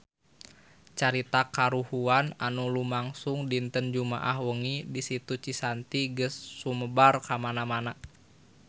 Carita kahuruan anu lumangsung dinten Jumaah wengi di Situ Cisanti geus sumebar kamana-mana